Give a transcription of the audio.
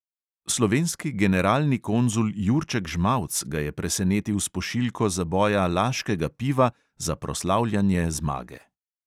Slovenski generalni konzul jurček žmauc ga je presenetil s pošiljko zaboja laškega piva za proslavljanje zmage.